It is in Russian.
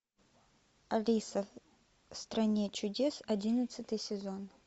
алиса в стране чудес одиннадцатый сезон